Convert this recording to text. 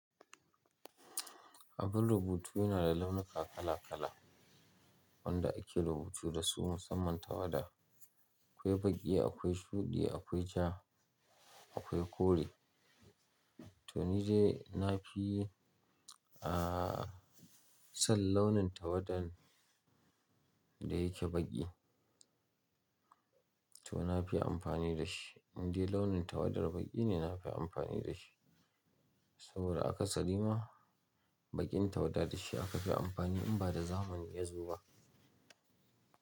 Abun rubutu yana da launuka kala kala wanda ake rubutu dasu musamman tawada. Akwai baƙi, akwai shuɗi, akwai ja, akwai kore. To ni dai na fi, ah, son launin tawadan da yake baƙi. To na fi amfani da shi. Indai launin tawadar baƙi ne na fi amfani da shi. Saboda aka tsari ma baƙin tawada da shi aka fi amfani in ba da zamani ya zuba.